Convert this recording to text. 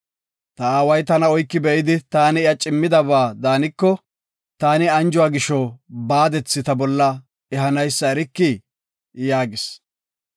Ta aaway tana oyki be7idi taani iya cimmidaba daaniko, taani anjuwa gisho baadethi ta bolla ehanaysa erikii?” yaagis.